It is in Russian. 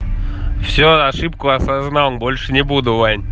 все ошибку осознал больше не буду ваня